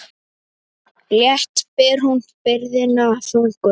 Létt ber hún byrðina þungu.